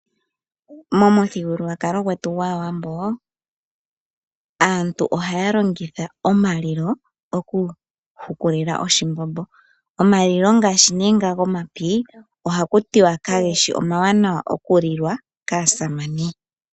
Momuthigululwakalo gwetu gwAawambo aantu ohaya longitha omalilo okuhukulila oshimbombo. Omalilo ngaashi nee nga gomapi ohaku tiwa kageshi omawanawa okulilwa kaasamane.